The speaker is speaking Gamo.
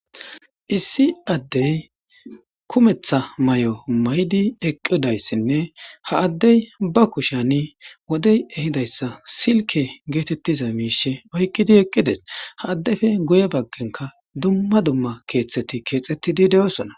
issi addey kumetha may7o maydi eqqidayssinne ha addey ba kushani wodey ehidayssa silke geetettiza miishe oykkidi eqqides ha addefe guye baggenka dumma dumma keeththeti keexettidi de7osona